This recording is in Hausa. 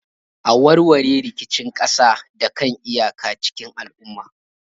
A warware rikicin kasa da kan iyaka cikin lumana.